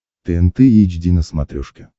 тнт эйч ди на смотрешке